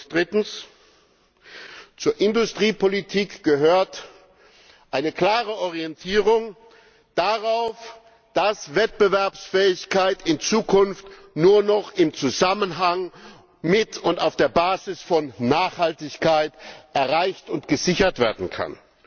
Drittens Zur Industriepolitik gehört eine klare Orientierung darauf, dass Wettbewerbsfähigkeit in Zukunft nur noch im Zusammenhang mit und auf der Basis von Nachhaltigkeit erreicht und gesichert werden kann.